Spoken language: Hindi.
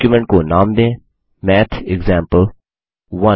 डॉक्युमेंट को नाम दें मैथेक्सेम्पल1